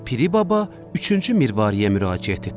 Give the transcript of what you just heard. Piri baba üçüncü mirvariyə müraciət etdi.